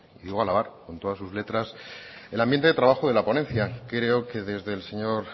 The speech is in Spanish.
y digo alabar con todas sus letras el ambiente de trabajo de la ponencia creo que desde el señor